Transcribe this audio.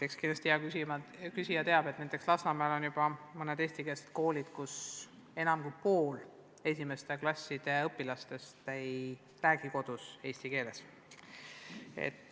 Aga kindlasti hea küsija teab, et näiteks Lasnamäel on mõned eestikeelsed koolid, kus enam kui pool esimeste klasside õpilastest ei räägi kodus eesti keeles.